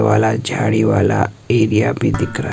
वाला झाड़ी वाला एरिया भी दिख रहा--